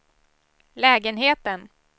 lägenheten